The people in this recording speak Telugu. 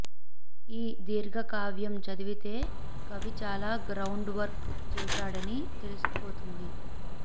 ఈ దీర్ఘకావ్యం చదివితే కవి చాలా గ్రౌండ్ వర్క్ చేశాడని తెలిసిపోతుంది